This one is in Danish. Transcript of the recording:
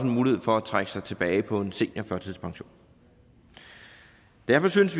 mulighed for at trække sig tilbage på en seniorførtidspension derfor synes